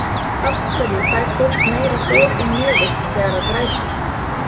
af hverju fær fólk meira hor í nefið þegar það grætur